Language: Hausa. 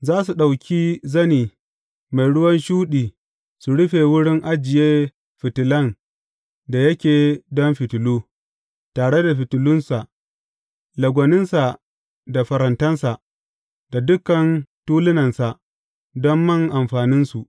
Za su ɗauki zane mai ruwan shuɗi su rufe wurin ajiye fitilan da yake don fitilu, tare da fitilunsa, lagwaninsa da farantansa, da dukan tulunansa don man amfaninsu.